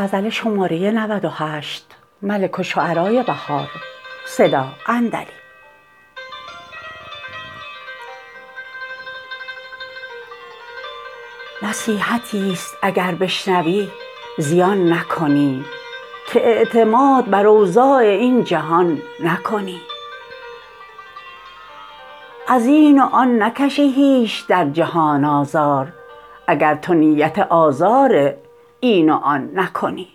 نصیحتی است اگر بشنوی زیان نکنی که اعتماد بر اوضاع این جهان نکنی از این وآن نکشی هیچ در جهان آزار اگرتو نیت آزار این و آن نکنی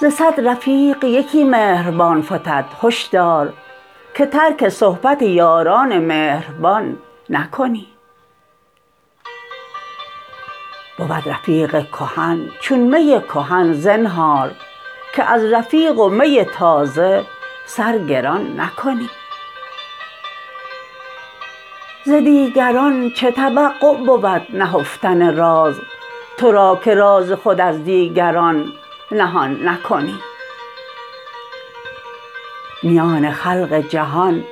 ز صد رفیق یکی مهربان فتد هش دار که ترک صحبت یاران مهربان نکنی بود رفیق کهن چون می کهن زنهار که از رفیق و می تازه سرگران نکنی ز دیگران چه توقع بود نهفتن راز ترا که راز خود از دیگران نهان نکنی میان خلق جهان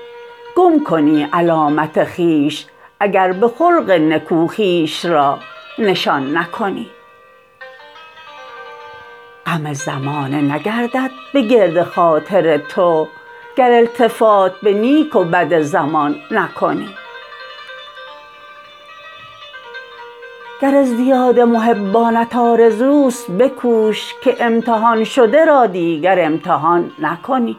گم کنی علامت خویش اگر به خلق نکو خویش را نشان نکنی غم زمانه نگردد به گرد خاطر تو گر التفات به نیک و بد زمان نکنی گر ازدیاد محبانت آرزوست بکوش که امتحان شده را دیگر امتحان نکنی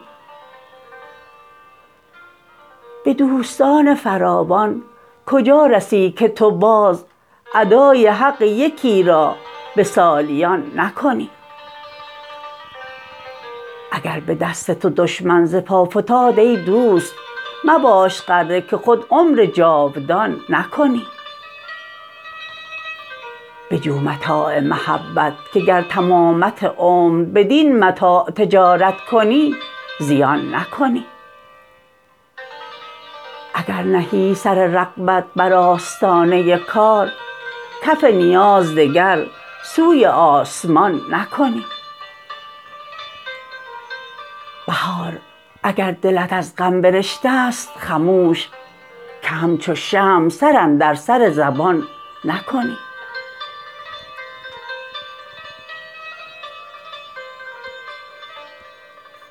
به دوستان فراوان کجا رسی که تو باز ادای حق یکی را به سالیان نکنی اگر به دست تو دشمن زپا فتاد ای دوست مباش غره که خود عمر جاودان نکنی بجو متاع محبت که گر تمامت عمر بدین متاع تجارت کنی زیان نکنی اگر نهی سر رغبت بر آستانه کار کف نیاز دگر سوی آسمان نکنی بهار اگر دلت از غم برشته است خموش که همچو شمع سر اندر سر زبان نکنی